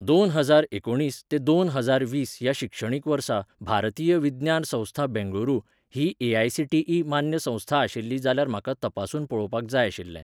दोन हजार एकुणीस ते दोन हजार वीस ह्या शिक्षणीक वर्सा भारतीय विज्ञान संस्था बेंगळुरू ही ए.आय.सी.टी.ई .मान्य संस्था आशिल्ली जाल्यार म्हाका तपासून पळोवपाक जाय आशिल्लें.